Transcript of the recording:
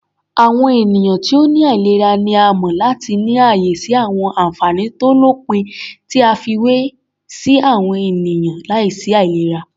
Àwọn ènìyàn ti ó ní àìlera ni a mọ̀ láti ní ààyè sí àwọn ànfàní tó lópin tí a fiwé sí àwọn ènìyàn láìsí àìlera.